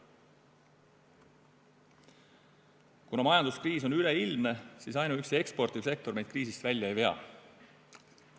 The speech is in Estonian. Kuna majanduskriis on üleilmne, siis ainuüksi eksportiv sektor meid kriisist välja ei vea.